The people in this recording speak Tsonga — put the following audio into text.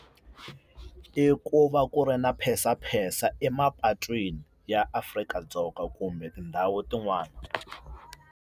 I ku va ku ri na phensaphensa emapatwini ya Afrika-Dzonga kumbe tindhawu tin'wani.